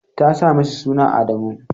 ta sa mishi suna Adamu.